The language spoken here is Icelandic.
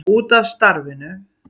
Út af starfinu.